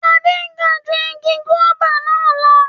Ade ga ju igi guaba na lọ